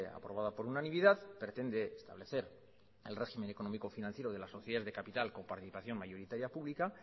aprobada por unanimidad pretende establecer el régimen económico financiero de las sociedades de capital con participación mayoritaria pública